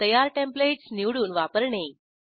तयार टेंप्लेटस निवडून वापरणे